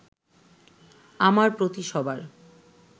আমার প্রতি সবার